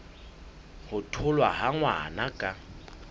ho tholwa ha ngwana ka